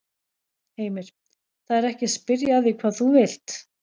Heimir: Það er ekki að spyrja að því hvað þú vilt?